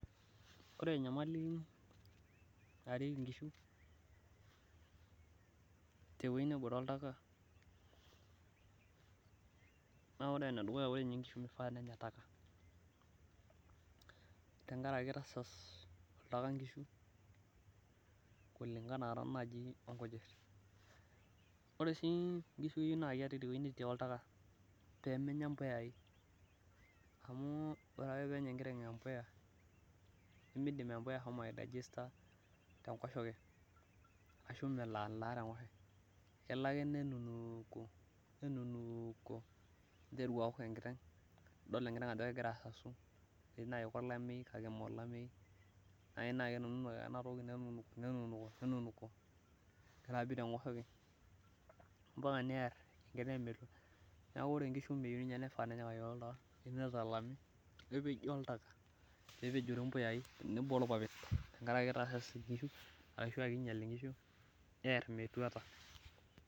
ore enyamali narieki inkishu teweji netii oltaka, naa ore enedukuya naa ore inkishu meishaa ninye nenya takataka, tenkaraki kitasas oltaka inkishu, oleng enaa taa naaji inkujit, ore sii inkishu naa keri pee menya imbuyai, amu ore ake pee enya enkiteng embuya nemelo alaa tenkoshoke, kelo ake nenunuko nelo auk enkiteng ninteru adol ajo kegira asasu, nijio iyie kolameyu amu kenunuko ake ena toki, nebik ampaka neer metua neeku keyeiu nepeji oltaltaka.